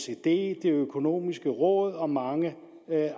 det økonomiske råd og mange